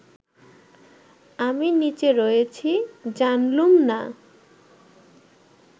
আমি নিচে রয়েছি জানলুম না